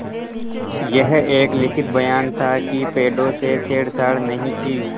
यह एक लिखित बयान था कि पेड़ों से छेड़छाड़ नहीं की